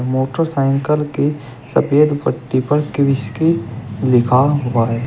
Motorcycle के सफेद पट्टी पर कृषकी लिखा हुआ हैं।